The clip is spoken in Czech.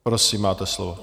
Prosím, máte slovo.